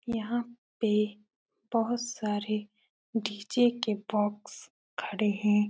यहाँ पे बोहोत सारे डी.जे. के बॉक्स खड़े हैं।